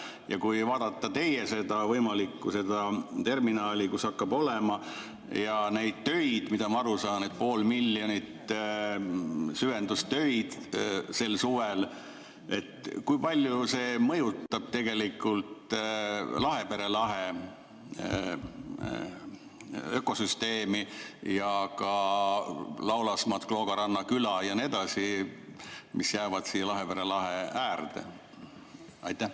Ja kui vaadata seda teie võimalikku terminali, kus hakkab olema süvendustöid, nagu ma aru saan, poole miljoni sel suvel, siis kui palju see mõjutab tegelikult Lahepere lahe ökosüsteemi ja ka Laulasmaad, Kloogaranna küla ja nii edasi, mis jäävad Lahepere lahe äärde?